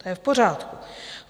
To je v pořádku.